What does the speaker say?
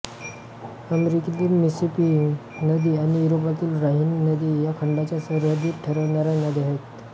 अमेरिकेतील मिसिसिपी नदी आणि युरोपातील ऱ्हाईन नदी या खंडाच्या सरहद्दी ठरवणाऱ्या नद्या आहेत